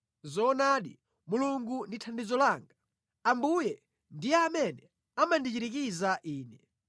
Zoonadi Mulungu ndi thandizo langa; Ambuye ndiye amene amandichirikiza ine.